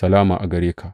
Salama gare ka.